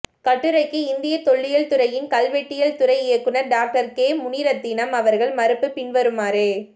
கட்டுரைக்கு இந்திய தொல்லியல் துறையின் கல்வெட்டியல் துறை இயக்குனர் டாக்டர் கே முனிரத்தினம் அவர்கள் மறுப்பு பின்வருமாறு